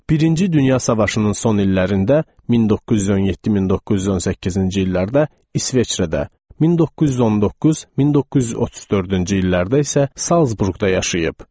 Birinci Dünya Savaşının son illərində (1917-1918-ci illərdə) İsveçrədə, 1919-1934-cü illərdə isə Zalsburqda yaşayıb.